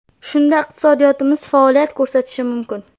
Shunda iqtisodiyotimiz faoliyat ko‘rsatishi mumkin.